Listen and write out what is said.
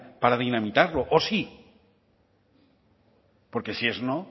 para dinamitarlo o sí porque si es no